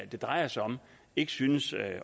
det drejer sig om ikke synes